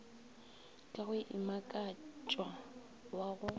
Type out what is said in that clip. ka go imakatša wa go